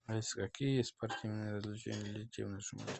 алиса какие есть спортивные развлечения для детей в нашем отеле